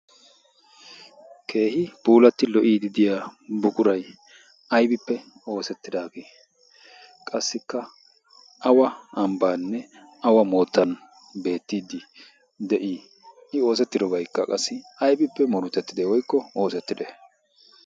keehi puulatti lo"iidi diya bukurai aibippe oosettidaagee qassikka awa ambbaanne awa moottan beettiiddi de'ii? i oosettidobaykka qassi aibippe morutettide woykko oosettide?